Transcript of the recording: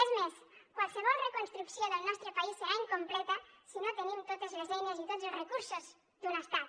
és més qualsevol reconstrucció del nostre país serà incompleta si no tenim totes les eines i tots els recursos d’un estat